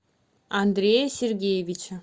андрея сергеевича